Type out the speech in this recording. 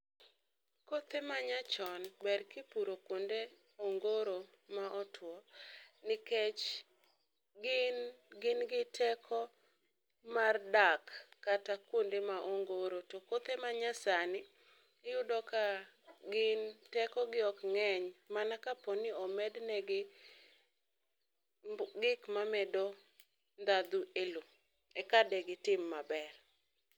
Kothe manyachon ber kipuro kuonde ongoro motwo nikech gin gin gi teko mar dak kata kuonde ma ongoro to kothe ma nya sani iyudo ka gin teko gi ok ng'eny mana ka omedne gi gik mamedo ndhadhu e lowo eka tegi tim maber.